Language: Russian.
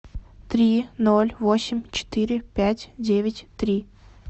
три ноль восемь четыре пять девять три